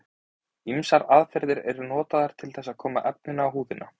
Ýmsar aðferðir eru notaðar til þess að koma efninu á húðina.